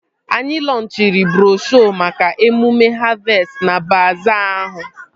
Anyị lọnchịrị broshuo maka emume havestị na baazaa ahụ